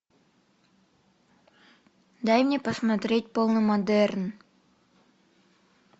дай мне посмотреть полный модерн